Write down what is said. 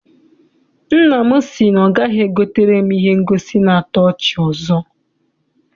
Nna m si na ọ gaghị egotere m ihe ngosi na-ato ọchị ọzọ.